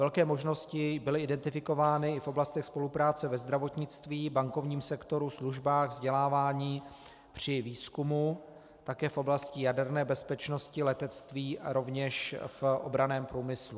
Velké možnosti byly identifikovány i v oblastech spolupráce ve zdravotnictví, bankovním sektoru, službách, vzdělávání, při výzkumu, také v oblasti jaderné bezpečnosti, letectví a rovněž v obranném průmyslu.